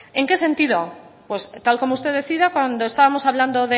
en qué sentido pues tal como usted decía cuando estábamos hablando